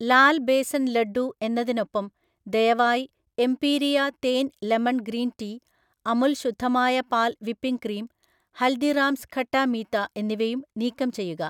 ലാൽ ബേസൻ ലഡ്ഡൂ എന്നതിനൊപ്പം, ദയവായി എംപീരിയ തേൻ ലെമൺ ഗ്രീൻ ടീ, അമുൽ ശുദ്ധമായ പാൽ വിപ്പിംഗ് ക്രീം, ഹൽദിറാംസ് ഖട്ടാ മീത്ത എന്നിവയും നീക്കം ചെയ്യുക